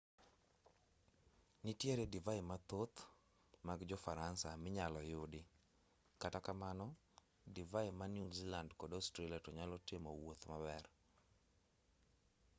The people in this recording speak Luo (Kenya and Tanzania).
nitiere divai mathoth mag jo-faransa minyalo yudi kata kamano divai ma new zealand kod australia to nyalo timo wuoth maber